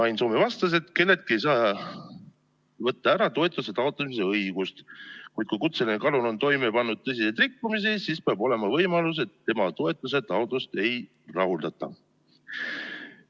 Ain Soome vastas, et kelleltki ei saa võtta ära toetuse taotlemise õigust, kuid kui kutseline kalur on toime pannud tõsiseid rikkumisi, siis peab olema võimalus, et tema toetuse taotlust ei rahuldata.